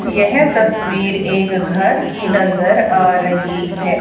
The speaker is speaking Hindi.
यह तस्वीर एक घर की नजर आ रही है।